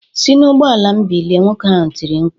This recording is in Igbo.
"Si n'ụgbọala m bilie!" Nwoke ahụ tiri mkpu